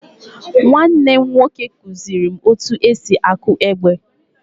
Nwanne m nwoke kuziri m etu esi akụ egbe.